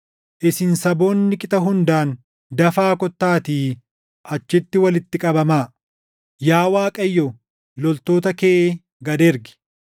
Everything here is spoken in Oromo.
Isin saboonni qixa hundaan dafaa kottaattii achitti walitti qabamaa. Yaa Waaqayyo, loltoota kee gad ergi!